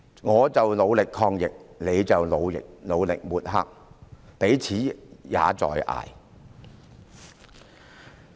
我們努力抗疫，她卻努力抹黑，彼此也在"捱"。